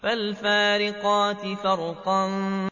فَالْفَارِقَاتِ فَرْقًا